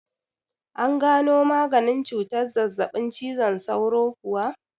An gano maganin cutar zazzaɓin cizon sauro kuwa?